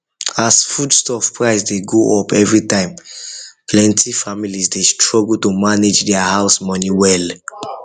as foodstuff price dey go up every time plenty families dey struggle to manage their house money well